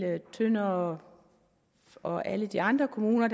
tønder og og alle de andre kommuner